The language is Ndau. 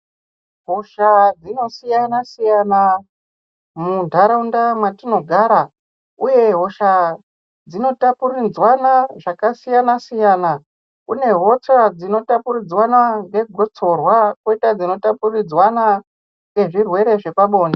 Hosha dzinosiyana-siyana mundaraunda matinogara uye hosha dzinotapuridzwana zvakasiyana-siyana kune hosha dzinotapuridzwana nekotsorwa koita dzinotapuridzwana nezvirwere zvepabonde.